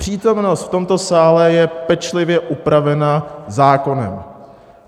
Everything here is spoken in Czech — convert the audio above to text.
Přítomnost v tomto sále je pečlivě upravena zákonem.